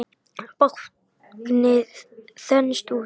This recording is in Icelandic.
Báknið þenst út.